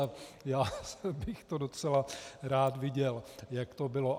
A já bych to docela rád viděl, jak to bylo.